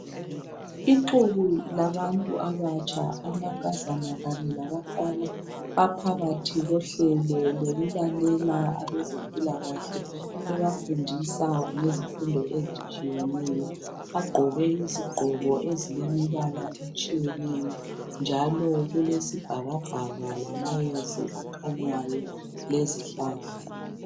Ixuku labantu abatsha amankazana kanye labafana baphakathi kohlelo kokulalela abezempilakahle bebafundisa ngezifundo ezitshiyeneyo. Bagqoke izigqoko eziyimibala etshiyeneyo njalo kulesibhakabhaka lamayezi akhanyayo lezihlahla.